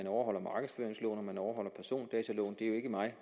overholder markedsføringsloven overholder persondataloven det er jo ikke mig